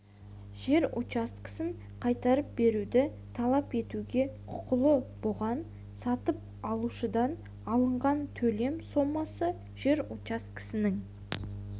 жер учаскесін қайтарып беруді талап етуге құқылы бұған сатып алушыдан алынған төлем сомасы жер учаскесінің